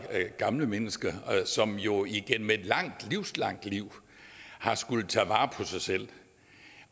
gamle mennesker som jo igennem et langt liv har skullet tage vare på sig selv